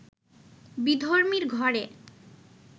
বিধর্মীর ঘরে